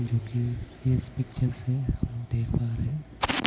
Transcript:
जो कि इस पिक्चर से हम लोग देख पा रहे हैं.